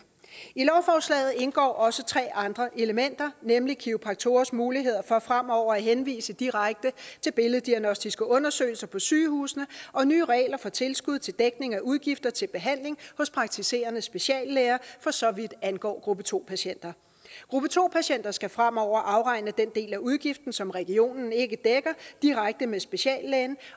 i lovforslaget indgår også tre andre elementer nemlig kiropraktorers muligheder for fremover at henvise direkte til billeddiagnostiske undersøgelser på sygehusene og nye regler for tilskud til dækning af udgifter til behandling hos praktiserende speciallæger for så vidt angår gruppe to patienter gruppe to patienter skal fremover afregne den del af udgiften som regionen ikke dækker direkte med speciallægen